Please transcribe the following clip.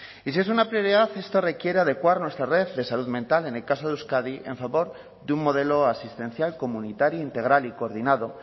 y si es una prioridad esto requiere adecuar nuestra red de salud mental en el caso de euskadi en favor de un modelo asistencial comunitario integral y coordinado